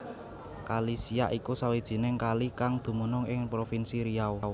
Kali Siak iku sawijining kali kang dumunung ing provinsi Riau